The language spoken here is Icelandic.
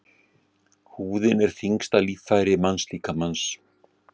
Húðin er þyngsta líffæri mannslíkamans.